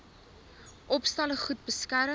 opstalle goed beskerm